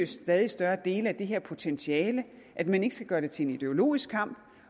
stadig større dele af det her potentiale at man ikke skal gøre det til en ideologisk kamp